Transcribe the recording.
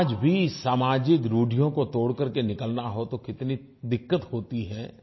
आज भी सामाजिक रुढियों को तोड़ कर के निकलना हो तो कितनी दिक्कत होती है